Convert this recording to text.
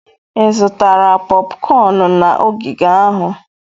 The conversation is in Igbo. Ị zụtara popcorn na ogige ahụ?